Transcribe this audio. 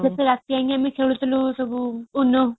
ବେଶୀ ରାତି ଯାଏ ଆମେ ଖେଳୁଥିଲୁ ସବୁ ono